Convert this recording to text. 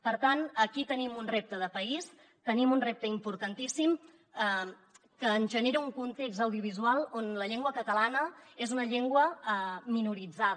per tant aquí tenim un repte de país tenim un repte importantíssim que ens genera un context audiovisual on la llengua catalana és una llengua minoritzada